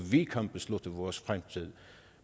vi kan beslutte vores fremtid